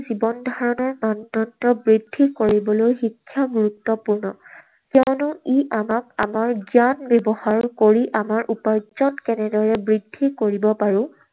জীৱনধাৰণৰ মানদণ্ড বৃদ্ধি কৰিবলৈ শিক্ষা গুৰুত্বপূৰ্ণ। কিয়নো ই আমাক আনৰ জ্ঞান ব্যৱহাৰ কৰি আমাৰ উপাৰ্জন কেনেদৰে বৃদ্ধি কৰিব পাৰো,